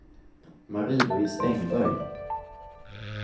Marie-Louise Engberg